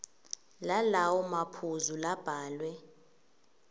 lalawo maphuzu labhalwe